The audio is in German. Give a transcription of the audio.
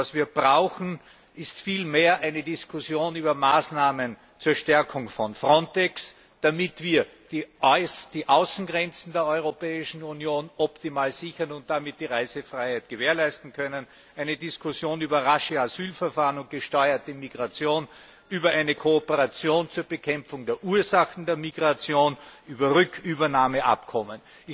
Was wir brauchen, ist vielmehr eine Diskussion über Maßnahmen zur Stärkung von Frontex, damit wir die Außengrenzen der Europäischen Union optimal sichern und damit die Reisefreiheit gewährleisten können, eine Diskussion über rasche Asylverfahren und gesteuerte Migration, über eine Kooperation zur Bekämpfung der Ursachen der Migration, über Rückübernahmeabkommen.